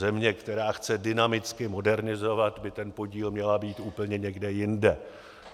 Země, která chce dynamicky modernizovat, by ten podíl měla mít úplně někde jinde.